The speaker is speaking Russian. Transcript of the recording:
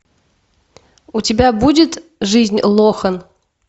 у тебя будет жизнь лохан